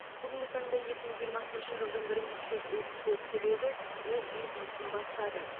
бүгінгі таңда екі мың жиырмасыншы жылдың мың үш жүз отыз төрт түлегі өз бизнесін бастады